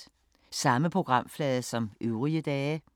Samme programflade som øvrige dage